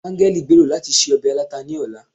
angẹl gbèrò lati se obe alata ni ọla